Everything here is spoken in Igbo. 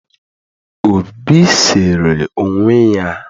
obi sere onwe ya